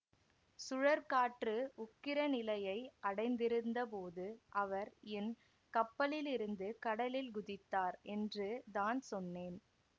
சுழற்காற்று உக்கிர நிலையை அடைந்திருந்தபோது அவர் என் கப்பலிலிருந்து கடலில் குதித்தார் என்று தான் சொன்னேன்